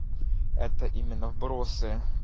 это именно вбросы